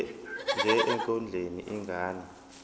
nje ekondleni ingane